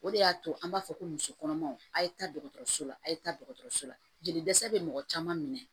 O de y'a to an b'a fɔ ko muso kɔnɔmaw a' ye taa dɔgɔtɔrɔso la a ye taa dɔgɔtɔrɔso la jeli dɛsɛ bɛ mɔgɔ caman minɛ